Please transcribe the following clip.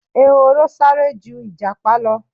Ehoro sáré ju Ìjàpá lọ.